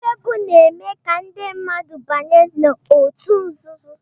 mmegbu na-eme ka ndị mmadụ banye na ọtu nzuzo.